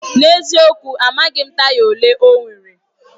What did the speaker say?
N'eziokwu! Amaghị m taya olee ọ nwere.